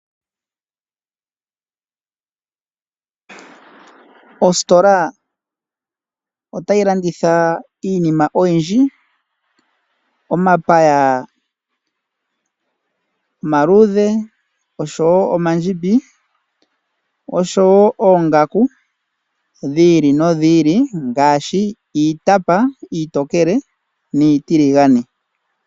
Ositola otayi landitha iinima oyindji; omapaya omaluudhe osho wo omandjimbi, osho wo ongaku dhi ili nodhi ili; ngaashi iitapa iitokele niitiligane.